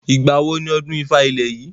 Ìgbàwo ni ọdún ifá ilẹ̀ yìí?